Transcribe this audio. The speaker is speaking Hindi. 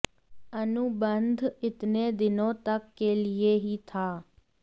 अनुबंध इतने दिनों तक के लिए ही था